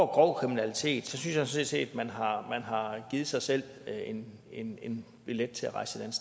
grov kriminalitet så synes jeg sådan set at man har givet sig selv en en billet til at rejse et